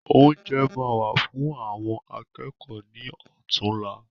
Oúnjẹ ma wà fún àwọn akẹ́kọ̀ọ́ ní ọ̀túnla.